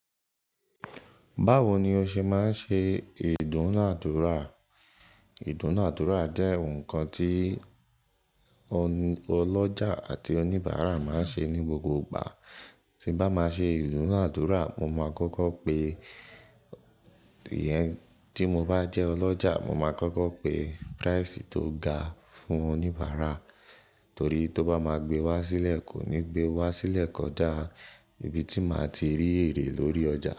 Báwo ni o ṣe máa ń ṣe ìdúnàádúrà? Ìdúnàádúrà jẹ́ nǹkan tí oní ọlọ́jà àti oníbàárà máa ń ṣe ní gbogbo ìgbà. Tí bá máa ṣe ìdúnàádúrà, mo máa kọ́kọ́ pe ìyẹn tí mo bá jẹ́ ọlọ́jà, mo máa kọ́kọ́ pe price tó ga fún oníbàárà torí tó bá máa gbé wá sílẹ̀ kò ní gbé wá sílẹ̀ kọjá ibi tí màá ti rí èrè lórí ọjà.